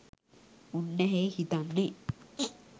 උන්නැහේ හිතන්නේ